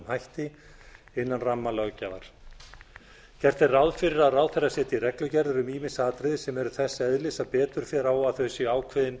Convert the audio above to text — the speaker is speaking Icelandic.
hætti innan rammalöggjafar gert er ráð fyrir að ráðherra setji reglugerðir um ýmis atriði sem eru þess eðlis að betur fer á að þau séu ákveðin